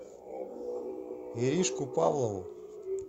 иришку павлову